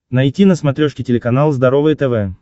найти на смотрешке телеканал здоровое тв